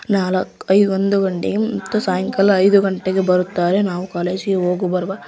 ನಾಲ್ಕು ಐದು ಗಂಟೆಗೆ ಮತ್ತೆ ಸಾಯಂಕಾಲ ಐದು ಗಂಟೆಗೆ ಬರುತ್ತಾರೆ ನಾವು ಹೋಗಿ ಬರುವ.